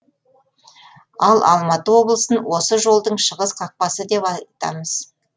ал алматы облысын осы жолдың шығыс қақпасы деп айтамыз